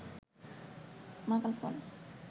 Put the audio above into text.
মাকাল ফল